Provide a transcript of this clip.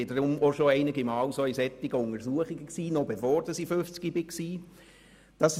Deshalb war ich auch schon einige Male in solchen Vorsorgeuntersuchungen, noch bevor ich 50 Jahre alt geworden bin.